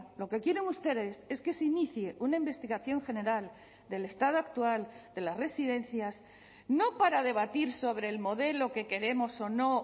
lo que quieren ustedes es que se inicie una investigación general del estado actual de las residencias no para debatir sobre el modelo que queremos o no